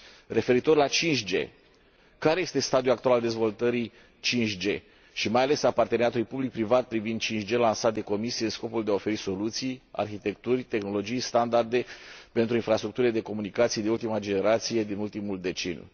Referitor la 5G care este stadiul actual al dezvoltării 5G și mai ales al parteneriatului public privat privind 5G lansat de Comisie în scopul de a oferi soluții, arhitecturi, tehnologii, standarde pentru infrastructurile de comunicații de ultimă generație, din ultimul deceniu?